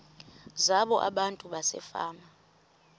zabo abantu basefama